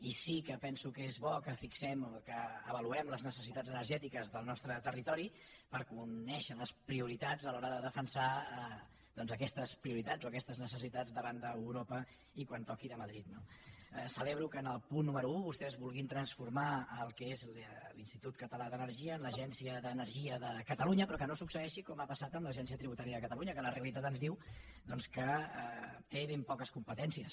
i sí que penso que és bo que fixem o que avaluem les necessitats energètiques del nostre territori per conèixer les prioritats a l’hora de defensar doncs aquestes prioritats o aquestes necessitats davant d’europa i quan toqui de madrid no celebro que en el punt número un vostès vulguin transformar el que és l’institut català d’energia en l’agència d’energia de catalunya però que no succeeixi com ha passat amb l’agència tributària de catalunya que la realitat ens diu que té ben poques competències